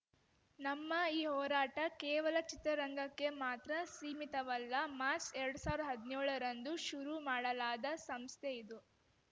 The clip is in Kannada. ನಮ್ಮ ಈ ಹೋರಾಟ ಕೇವಲ ಚಿತ್ರರಂಗಕ್ಕೆ ಮಾತ್ರ ಸೀಮಿತವಲ್ಲ ಮಾರ್ಚ್ ಎರಡ್ ಸಾವಿರ ಹದ್ನ್ಯೋಳರಂದು ಶುರು ಮಾಡಲಾದ ಸಂಸ್ಥೆ ಇದು